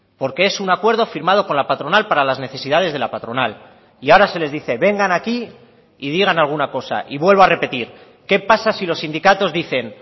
porque es un acuerdo firmado con la patronal para las necesidades de la patronal y ahora se les dice vengan aquí y digan alguna cosa y vuelvo a repetir qué pasa si los sindicatos dicen